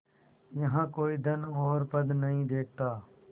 यहाँ कोई धन और पद नहीं देखता